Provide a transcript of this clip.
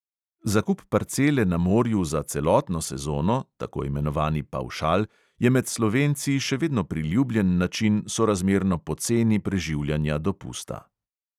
Zakup parcele na morju za celotno sezono – tako imenovani pavšal – je med slovenci še vedno priljubljen način sorazmerno poceni preživljanja dopusta.